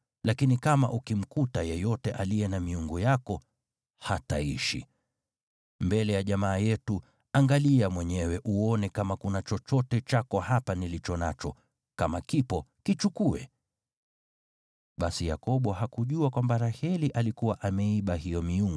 Lakini kama ukimkuta yeyote aliye na miungu yako, hataishi. Mbele ya jamaa yetu, angalia mwenyewe uone kama kuna chochote chako hapa nilicho nacho, kama kipo, kichukue.” Basi Yakobo hakujua kwamba Raheli alikuwa ameiba hiyo miungu.